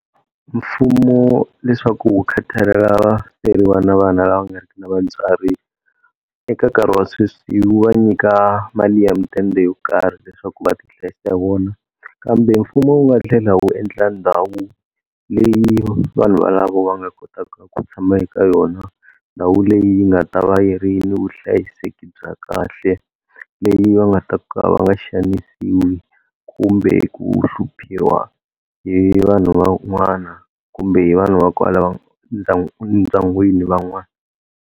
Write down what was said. Mfumo leswaku wu khathalelana vaferiwa na vana lava nga ri ki na vatswari, eka nkarhi wa sweswi wu vaa nyika mali ya midende yo karhi leswaku va ti hlayisa hi yona. Kambe mfumo wu nga tlhela wu endla ndhawu leyi vanhu valavo va nga kotaka ku tshama eka yona. Ndhawu leyi nga ta va yi ri ni vuhlayiseki bya kahle leyi va nga ta ka va nga xanisiwi kumbe ku hluphiwa hi vanhu van'wana, kumbe hi vanhu va kwala va ndyangwini van'wana.